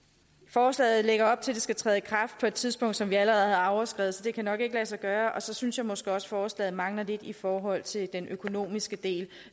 forslaget lægger op til at det skal træde i kraft på et tidspunkt som vi allerede har overskredet så det kan nok ikke lade sig gøre og så synes jeg måske også at forslaget mangler lidt i forhold til den økonomiske del